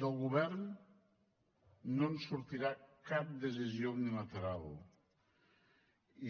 del govern no en sortirà cap decisió unilateral